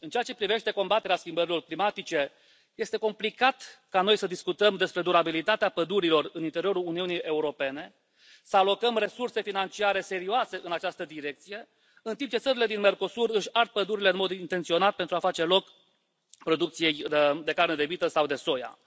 În ceea ce privește combaterea schimbărilor climatice, este complicat ca noi să discutăm despre durabilitatea pădurilor în interiorul Uniunii Europene, să alocăm resurse financiare serioase în această direcție, în timp ce țările din Mercosur își ard pădurile în mod intenționat pentru a face loc producției de carne de vită sau de soia.